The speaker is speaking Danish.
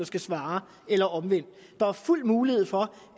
skal svare eller omvendt der er fuld mulighed for